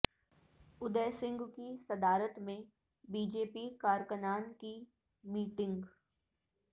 اودے سنگھ کی صدارت میں بی جے پی کارکنان کی میٹنگ